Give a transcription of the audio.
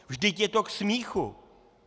Vždyť je to k smíchu!